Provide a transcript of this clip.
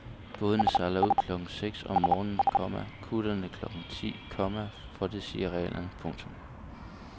Bådene sejler ud klokken seks om morgenen, komma kutterne klokken ti, komma for det siger reglerne. punktum